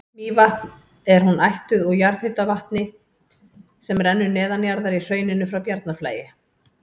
Mývatn er hún ættuð úr jarðhitavatni sem rennur neðanjarðar í hrauninu frá Bjarnarflagi.